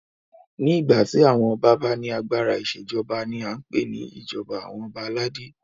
Ní ìgbà tí àwọn ọba bá ní agbára ìṣèjọba ní a n pé ní ìjọba àwọn ọba aládé.